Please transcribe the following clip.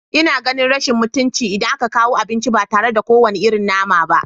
Ina ganin rashin mutunci, idan aka kawo abinci ba tare da kowane irin nama ba